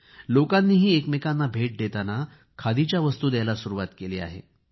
लोकांनीही एकमेकांना भेट देताना खादीच्या वस्तू द्यायला सुरूवात केली आहे